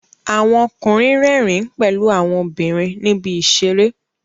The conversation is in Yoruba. Àwon okùnrin rẹ́rìn pèlu àwon obìnrìn níbi ìseré